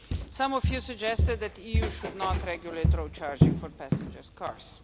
Some of you suggested that the EU should not regulate road charging for passenger cars.